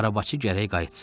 Arabacı gərək qayıtsın.